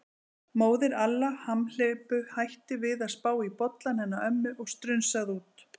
Móðir Alla hamhleypu hætti við að spá í bollann hennar ömmu og strunsaði út.